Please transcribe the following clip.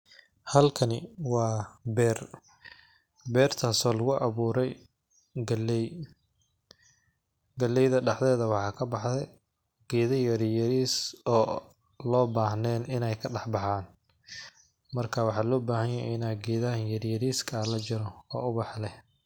Halkani waa beer beertasi oo lagu abuuray galey. Galeyda daxdeeda waxaa kabaxday geeda yaryariis oo lo bahnayn inay kadax baxan marka waxaa loo bahanyahay in geedaha yaryariska ah lajaro oo ubaxa leh.